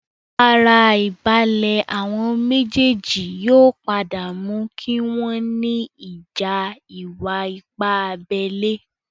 Ara àìbalẹ̀ àwon méjèèjì yóò padà mú kí wọ́n ní ìjà ìwà-ipá abẹ́lé